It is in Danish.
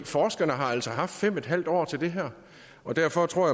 forskerne har altså haft fem en halv år til det her og derfor tror